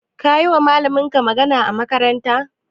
Kayiwa malaminka magana a makarantar?